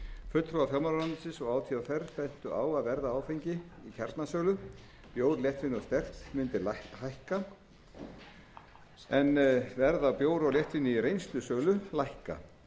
fulltrúar fjármálaráðuneytis og átvr bentu á að verð á áfengi í kjarnasölu bjór léttvín og sterkt mundi hækka en verð á bjór og léttvíni í reynslusölu lækka